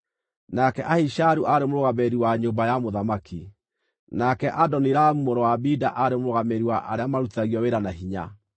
nake Ahisharu aarĩ mũrũgamĩrĩri wa nyũmba ya mũthamaki; nake Adoniramu mũrũ wa Abida aarĩ mũrũgamĩrĩri wa arĩa maarutithagio wĩra na hinya.